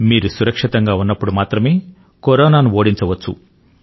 మీరు సురక్షితం గా ఉన్నప్పుడు మాత్రమే కరోనా ను ఓడించవచ్చు